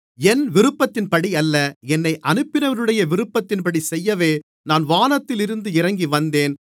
என் விருப்பத்தின்படியல்ல என்னை அனுப்பினவருடைய விருப்பத்தின்படி செய்யவே நான் வானத்திலிருந்து இறங்கி வந்தேன்